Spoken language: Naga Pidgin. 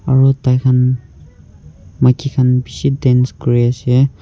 aru tai khan maiki khan bisi dance kori ase.